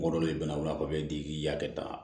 Mɔgɔ dɔ de bɛna o la k'i hakili ta